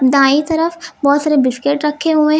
दाईं तरफ बहुत सारे बिस्किट रखे हुए हैं।